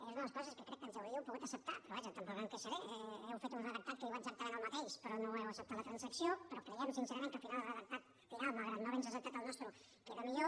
és una de les coses que crec que ens hauríeu pogut acceptar però vaja tampoc em queixaré heu fet un redactat que diu exactament el mateix però no heu acceptat la transacció però creiem sincerament que al final el redactat final malgrat no haver nos acceptat el nostre queda millor